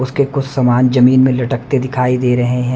उसके कुछ सामान जमीन में लटकते दिखाई दे रहे हैं।